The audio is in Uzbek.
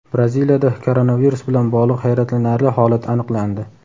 Braziliyada koronavirus bilan bog‘liq hayratlanarli holat aniqlandi.